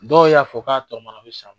Dɔw y'a fɔ k'a tɔmana a bi sa